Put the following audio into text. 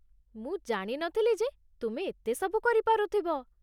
ମୁଁ ଜାଣି ନଥିଲି ଯେ ତୁମେ ଏତେ ସବୁ କରିପାରୁଥିବ ।